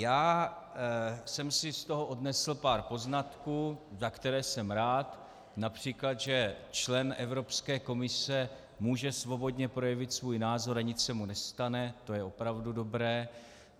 Já jsem si z toho odnesl pár poznatků, za které jsem rád, například, že člen Evropské komise může svobodně projevit svůj názor a nic se mu nestane, to je opravdu dobré.